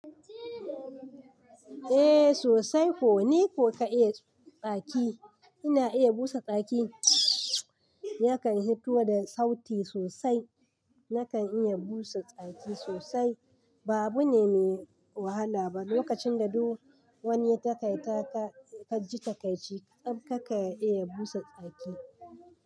Eh sosai. Ko ne ko ka iya tsaki. Ina iya busa tsaki. Yakan hito da sauti sosai. Nakan iya busa tsaki sosai. Ba abu ne mai wahala ba. Lokacin da duk wani takaitaka ka ji ta kai ci, karka iya busa tsaki.